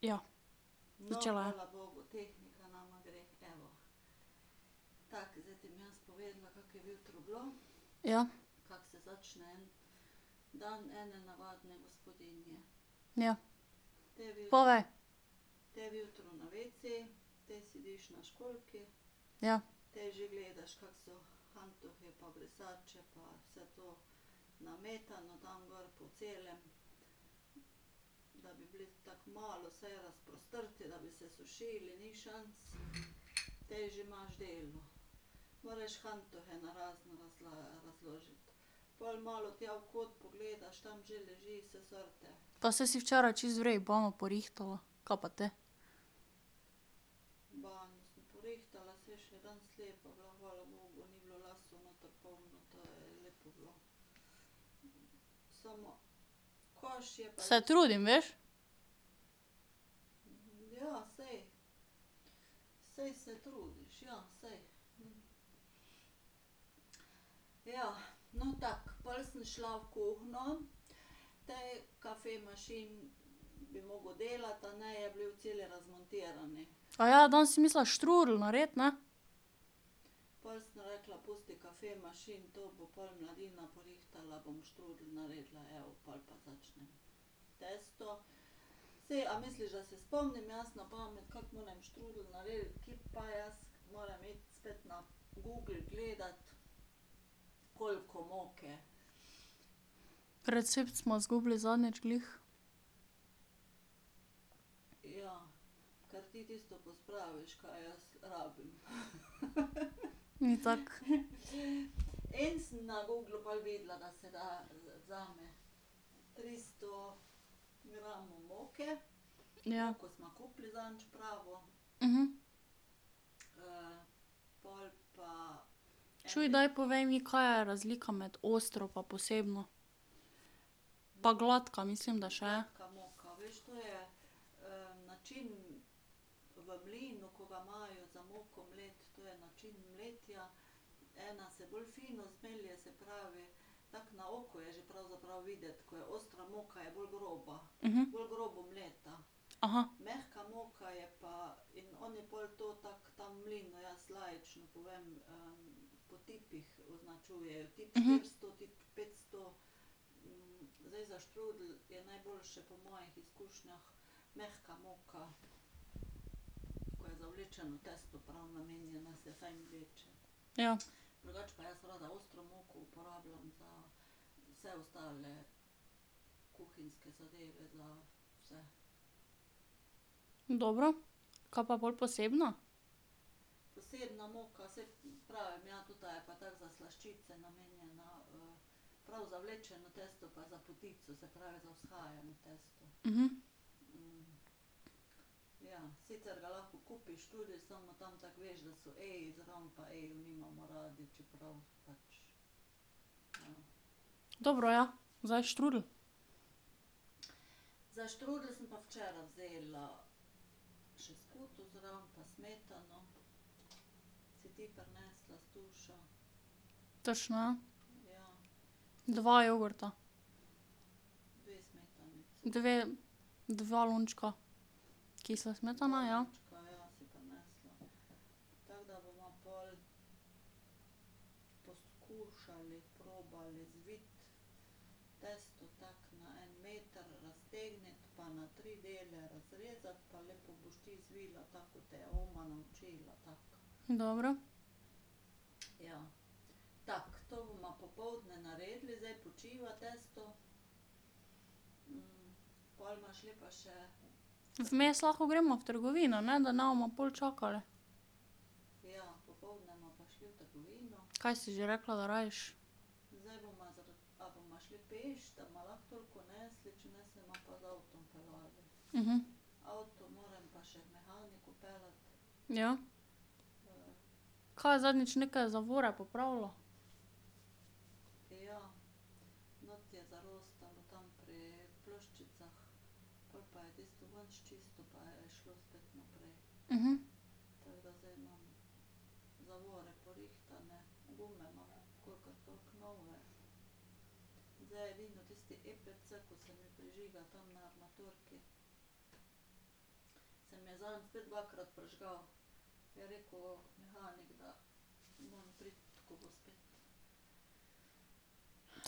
Ja. Začelo je. Ja. Ja. Povej. Ja. Pa saj si včeraj čisto v redu banjo porihtala, kaj pa te? Se trudim, veš. danes si mislila štrudelj narediti, ne? Recept sva zgubili zadnjič glih. Ni tako. Ja. Čuj, daj povej mi, ka je razlika med ostro pa posebno? Pa gladka mislim, da še je. Ja. Dobro, kaj pa pol posebna? Dobro, ja, zdaj štrudelj. Točno, ja. Dva jogurta. Dve, dva lončka kisle smetane, ja. Dobro. Vmes lahko greva v trgovino, ne, da ne bomo pol čakali. Ka si že rekla, da rabiš? Ja. Ka je zadnjič neke zavore popravljal?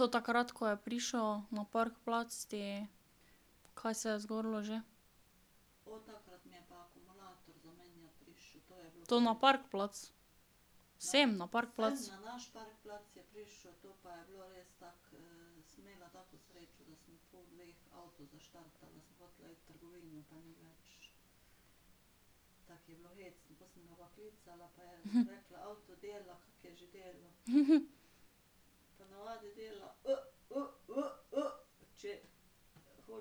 To takrat, ko je prišel na parkplac ti ... Ka se je zgodilo že? To na parkplac? Sem na parkplac? Ja.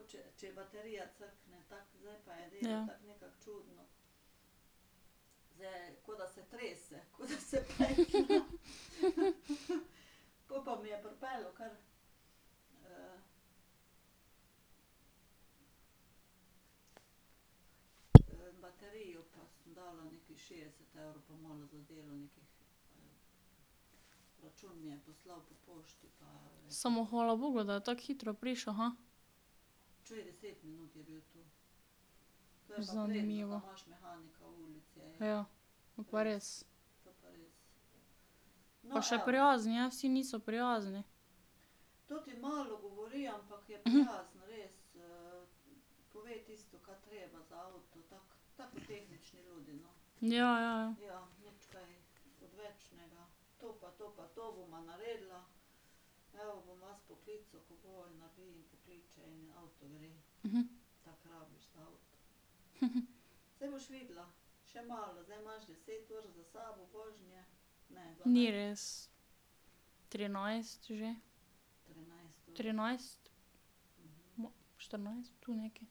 Samo hvala bogu, da je tako hitro prišel. Zanimivo. Ja, to pa res. Pa še prijazen je, vsi niso prijazni. Ja, ja, ja. Ni res, trinajst že. Trinajst, štirinajst, tu nekje.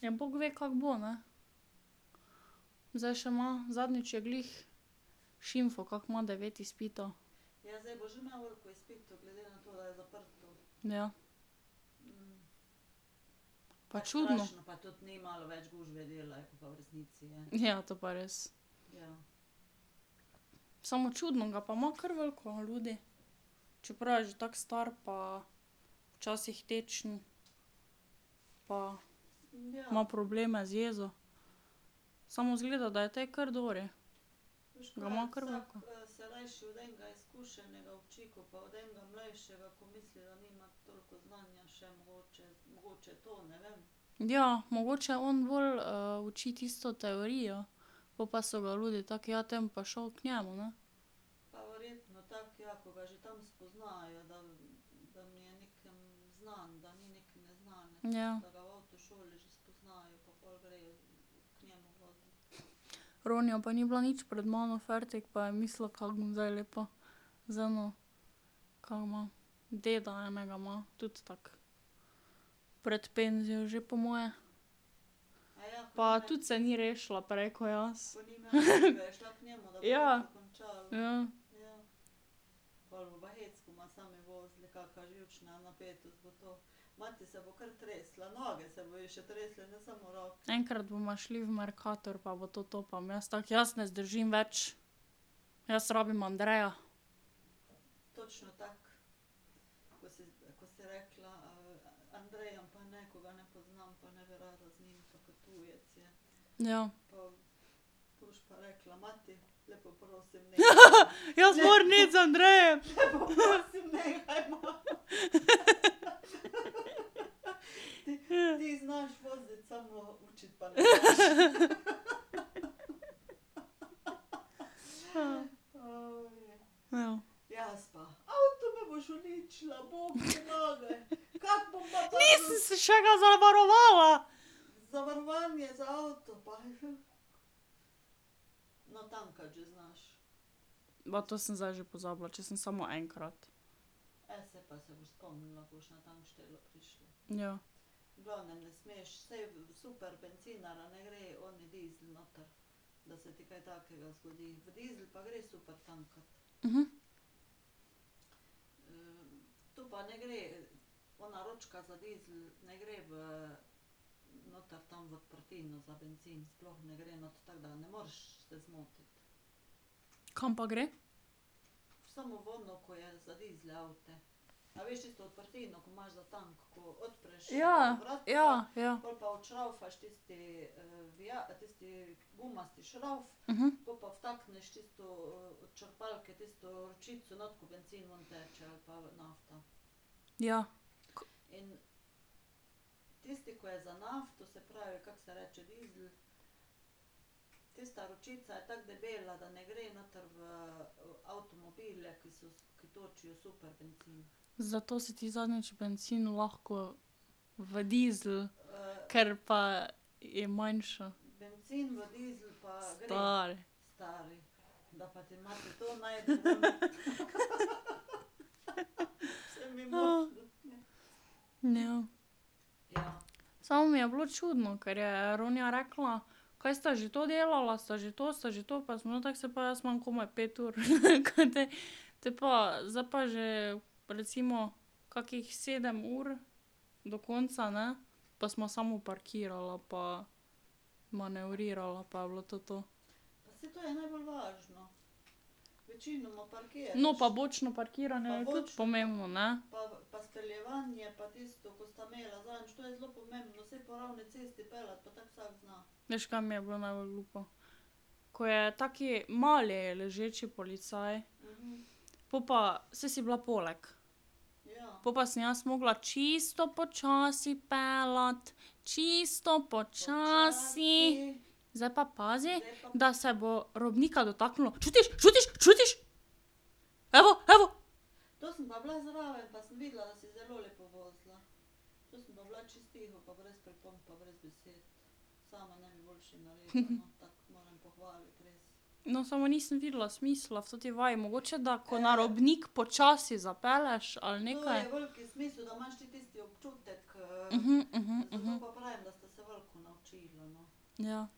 Ja, bog ve, kako bo, ne. Zdaj še ima, zadnjič je glih šimfal, kako ima devet izpitov. Ja. Pa čudno ... Ja, to pa res. Samo čudno ga pa ima kar veliko ljudi. Čeprav je že tako star pa včasih tečen pa ima probleme z jezo. Samo izgleda, da je tej kar dobri, ga ima kar veliko. Ja, mogoče on bolj uči tisto teorijo, pol pa so ga ljudje tako, ja, te bom pa šel k njemu, ne. Ja. Roniju pa ni bilo nič pred mano fertik, pa je mislil, kako bom zdaj lepo z eno, kaj ima deda enega ima, tudi tako pred penzijo že po moje. Pa tudi se ni rešila prej ko jaz. Ja. Ja. Enkrat bova šli v Mercator pa bo to to, pa bom jaz tako, jaz ne zdržim več. Jaz rabim Andreja. Ja. jaz moram iti z Andrejem! Ja. Nisem si še ga zavarovala! Ma to sem zdaj že pozabila, če sem samo enkrat. Ja. Kam pa gre? Ja, ja, ja. Ja. Zato si ti zadnjič bencin lahko v dizel. Ker pa je manjša. Stari. ja. Samo mi je bilo čudno, ker je Ronja rekla, kaj sta že to delala, sta že to, sta že to, pa sem bila tako, saj pa jaz imam komaj pet ur, ka te? Te pa, zdaj pa že recimo kakih sedem ur do konca, ne, pa sva samo parkirala pa manevrirala pa je bilo to to. No, pa bočno parkiranje je tudi pomembno, ne. Veš, ka mi je bilo najbolj glupo? Ko je tak mali ležeči policaj, po pa saj si bila poleg. Po pa sem jaz morala čisto počasi peljati, čisto počasi, zdaj pa pazi, da se bo robnika dotaknilo, čutiš, čutiš, čutiš? Evo, evo. No, samo nisem videla smisla v toti vaji, mogoče da ko na robnik počasi zapelješ ali nekaj. Ja. Ja.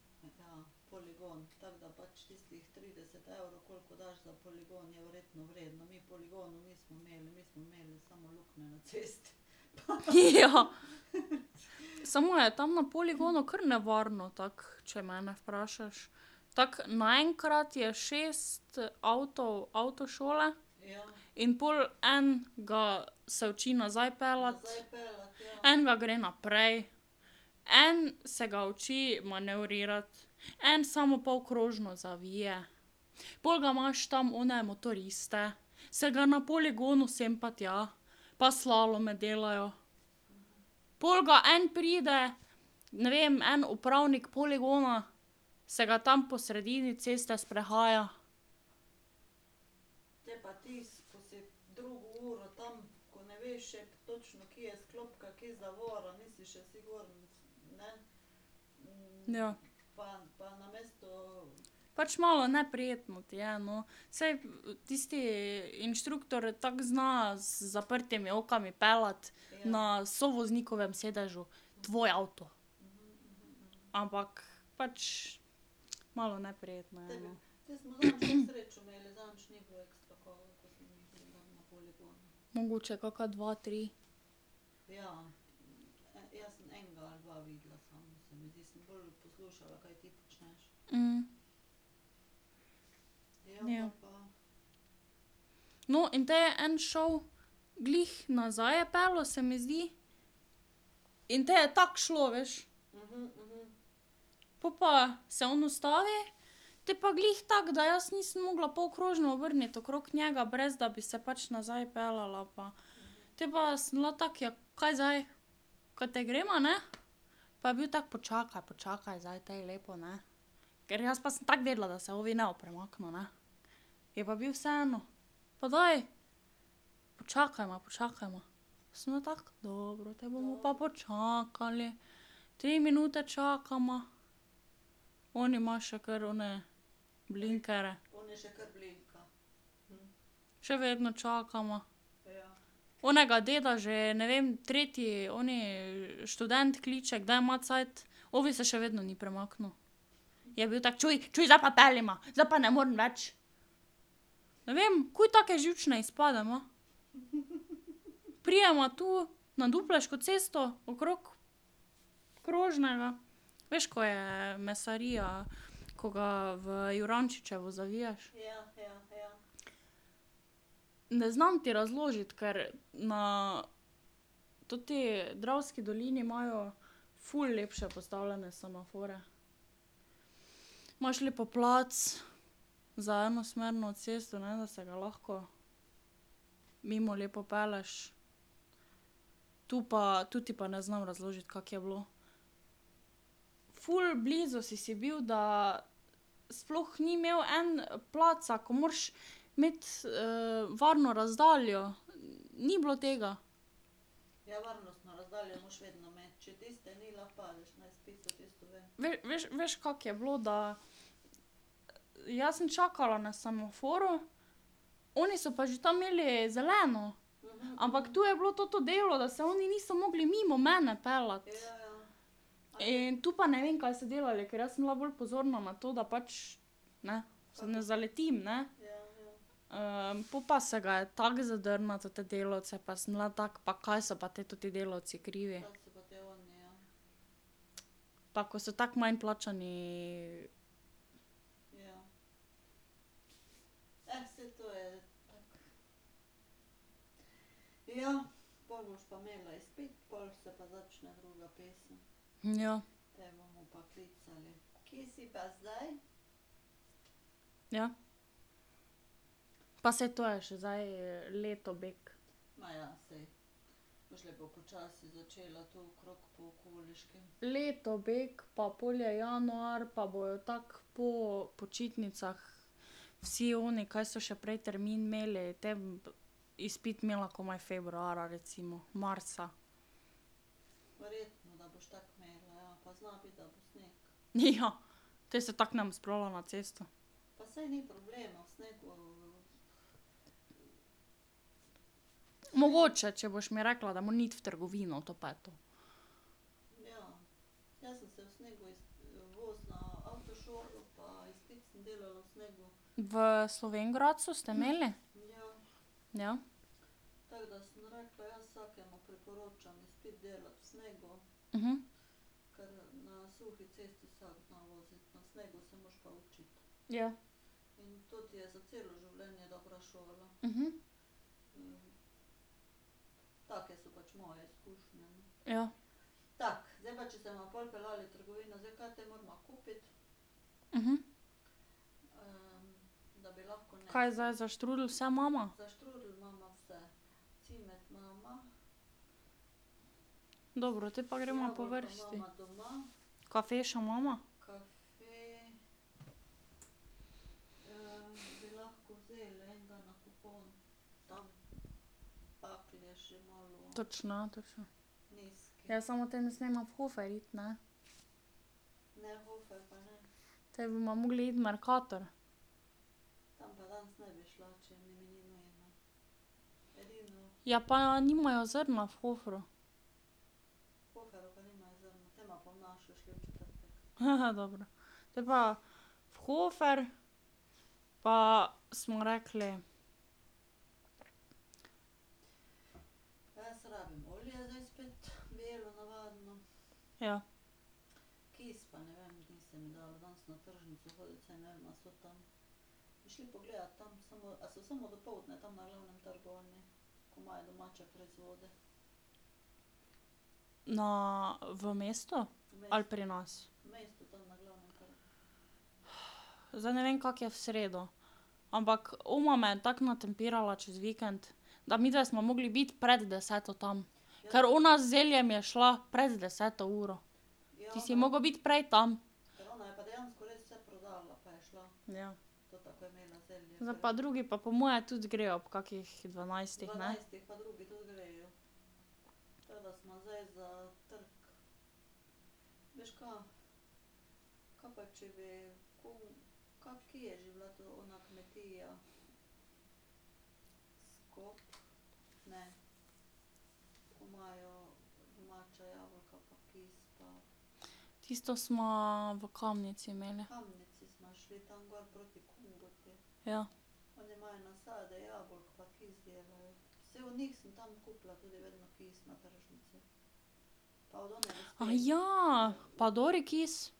Samo je tam na poligonu kar nevarno, tako, če mene vprašaš. Tako naenkrat je šest avtov avtošole, in pol en ga se uči nazaj peljati, en ga gre naprej, en se ga uči manevrirati, en samo polkrožno zavije, pol ga imaš tam one motoriste, se ga na poligonu sem pa tja, pa slalome delajo, pol ga en pride, ne vem, en upravnik poligona, se ga tam po sredini ceste sprehaja. Ja. Pač malo neprijetno ti je, no, saj tisti inštruktor tako zna z zaprtimi očmi peljati na sovoznikovem sedežu tvoj avto. Ampak pač malo neprijetno je, no. Mogoče kakšna dva, tri. Ja. No, in te je en šel, glih nazaj je peljal, se mi zdi, in potem je tako šlo, veš. Pol pa se on ustavi, potem pa glih tako, da jaz nisem mogla polkrožno obrniti okrog njega, brez da bi se pač nazaj peljala pa ... Te pa sem bila tako, ja, kaj zdaj, ka te greva, ne? Pa je bil tako: "Počakaj, počakaj zdaj tej lepo, ne." Ker jaz pa sem tako vedela, da se ovi ne bo premaknil, ne. Je pa bil vseeno: "Pa daj, počakajva, počakajva." Sem bila tako: "Dobro, te bomo pa počakali." Tri minute čakava, oni ima še kar one blinkerje. Še vedno čakava. Onega deda že, ne vem, tretji oni študent kliče, kdaj ima cajt, ovi se še vedno ni premaknil. Je bil tako: "Čuj, čuj, zdaj pa peljiva, zdaj pa ne morem več." Ne vem, takoj take živčne izpade ima. Prideva tu na Dupleško cesto okrog krožnega. Veš, ko je mesarija, ko ga v Jurančičevo zaviješ? Ne znam ti razložiti, ker na toti Dravski dolini imajo ful lepše postavljene semaforje. Imaš lepo plac za enosmerno cesto, ne vem, da se ga lahko mimo lepo pelješ. Tu pa, tu ti pa ne znam razložiti, kako je bilo. Ful blizu si si bil, da sploh ni imel en placa, ko moraš imeti varno razdaljo, ni bilo tega. veš, veš, kako je bilo, da jaz sem čakala na semaforju, oni so pa že tam imeli zeleno. Ampak to je bilo toto delo, da se oni niso mogli mimo mene peljati. In tu pa ne vem, kaj so delali, ker jaz sem bila bolj pozorna na to, da pač, ne, se ne zaletim, ne. po pa se ga je tako zadrnil na tote delavce pa sem bila tako, pa ko se pa te toti delavci krivi. Tako, kot so tako manj plačani ... Ja. Ja. Pa saj to je še zdaj leto bek. Leto bek pa pol je januar pa bojo tako po počitnicah vsi oni, kaj so še prej termin imeli, te izpit imela komaj februarja, recimo, marca. Ja, te se tako ne bom spravila na cesto. Mogoče, če boš mi rekla, da moram iti v trgovino, to pa je to. V Slovenj Gradcu ste imeli? Ja. Ja. Ja. Kaj zdaj za štrudelj vse imava? Dobro, potem pa greva po vrsti. Kafe še imava? Točno, ja, točno. Ja, samo te ne smeva v Hofer iti, ne. Potem bova mogli iti v Mercator. Ja, pa nimajo zrna v Hoferju. dobro. Potem pa v Hofer, pa smo rekli ... Ja. Na, v mesto ali pri nas? zdaj ne vem, kako je v sredo. Ampak oma me je tako natempirala čez vikend, da midve sva mogli biti pred deseto tam, ker ona z zeljem je šla pred deset uro. Ti si moral biti prej tam. Zdaj pa drugi pa po moje tudi grejo ob kakih dvanajstih, ne. Tisto sva v Kamnici imeli. Ja. pa dober kis?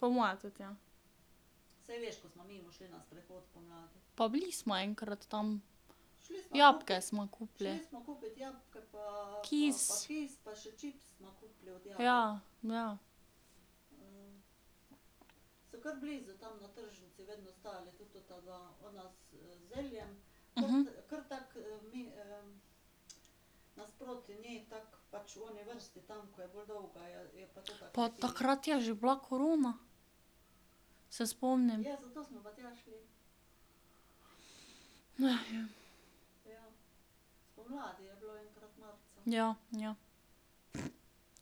Po moje tudi, ja. Pa bili sva enkrat tam, jabolka sva kupili. Kis ... Ja, ja. Pa takrat je že bila korona. Se spomnim. ja. Ja, ja.